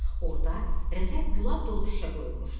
Orda rəfə gülab dolu şüşə qoyulmuşdu.